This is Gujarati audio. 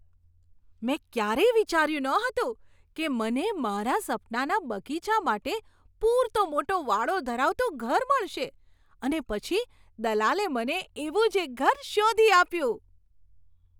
મેં ક્યારેય વિચાર્યું નહોતું કે મને મારા સપનાના બગીચા માટે પૂરતો મોટો વાડો ધરાવતું ઘર મળશે, અને પછી દલાલે મને એવું જ એક ઘર શોધી આપ્યું!